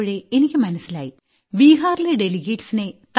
പ്പോൾ എനിയ്ക്ക് മനസ്സിലായി ബീഹാറിലെ ഡെലിഗേറ്റ്സ് നെ